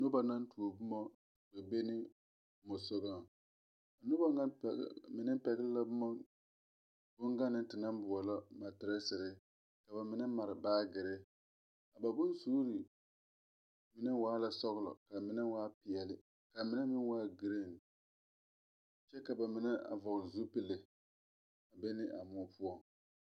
Noba la tuo bomma kpɛ be ne mɔsugɔŋ noba ŋa mine pɛgle la bonganne te naŋ boɔlɔ matirɛserre ka ba mine mare baagyirre ba bonsuure meŋ waa la sɔglɔ ka mine waa pɛɛle ka mine meŋ waa green kyɛ ka ba mine a vɔgle zupil yeni a moɔ poɔ.